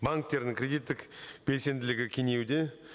банктердің кредиттік белсенділігі кеңеюде